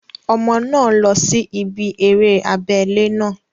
Ọmọ náà lọ sí ibí eré abẹ́lé náà